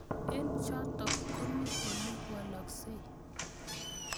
Eng' chotok ko mii ole walaksei